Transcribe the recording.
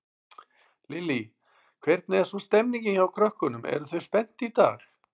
Lillý: Hvernig er svo stemmingin hjá krökkunum, eru þau spennt í dag?